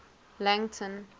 langton